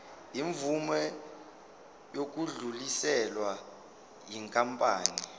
imvume yokudluliselwa yinkampani